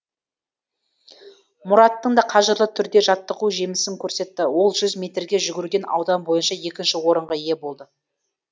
мұраттың да қажырлы түрде жаттығуы жемісін көрсетті ол жүз метрге жүгіруден аудан бойынша екінші орынға ие болды